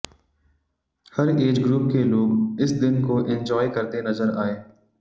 हर age group के लोग इस दिन को एंजॉय करते नजर आए